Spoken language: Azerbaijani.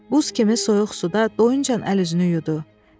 Buz kimi soyuq suda doyuncan əl-üzünü yudu.